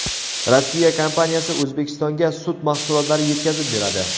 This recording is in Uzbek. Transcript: Rossiya kompaniyasi O‘zbekistonga sut mahsulotlari yetkazib beradi.